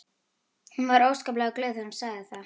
Hún var óskaplega glöð þegar hún sagði það.